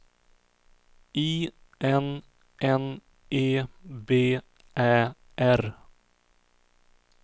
I N N E B Ä R